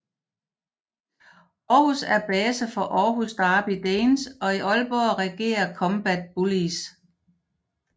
Århus er base for Århus Derby Danes og i Aalborg regerer Combat Bullies